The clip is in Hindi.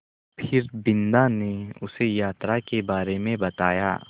फिर बिन्दा ने उसे यात्रा के बारे में बताया